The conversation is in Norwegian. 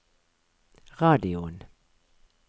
radioen